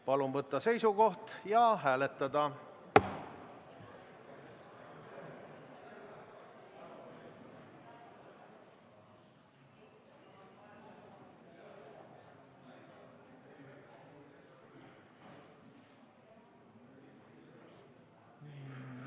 Palun võtta seisukoht ja hääletada!